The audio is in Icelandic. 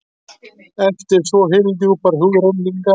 eftir svo hyldjúpar hugrenningar?